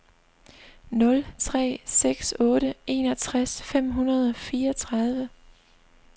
nul tre seks otte enogtres fem hundrede og fireogtredive